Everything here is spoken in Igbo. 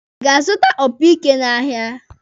Ị ga-azụta tụrọmpeti n'ahịa.